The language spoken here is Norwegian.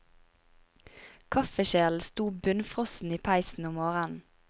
Kaffekjelen sto bunnfrossen i peisen om morgenen.